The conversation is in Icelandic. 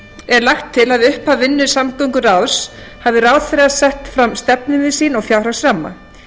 er lagt til að við upphaf vinnu samgönguráðs hafi ráðherra sett fram stefnumið sín og fjárhagsramma